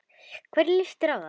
Hvernig litist þér á það?